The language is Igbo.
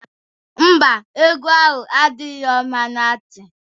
Ḿbà, egwu ahụ adirọ mma na nti.